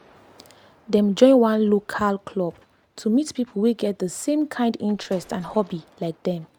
dem join one local club to meet people wey get the same kind interest and hobby like dem